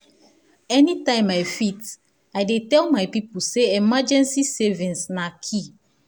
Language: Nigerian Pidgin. anytime i fit i dey tell my people say emergency savings na key.